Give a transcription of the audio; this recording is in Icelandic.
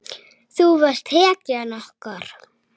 Þú varst hetjan okkar.